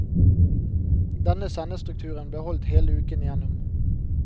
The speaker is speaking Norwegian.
Denne sendestrukturen ble holdt hele uken igjennom.